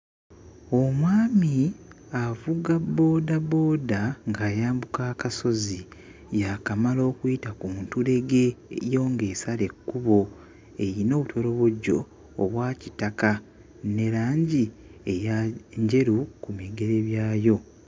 Omwami avuga boodabooda ng'ayambuka akasozi yaakamala okuyita ku ntulege eyo ng'esala ekkubo eyina obutolobojjo obwa kitaka ne langi eya njeru ku bigere byayo.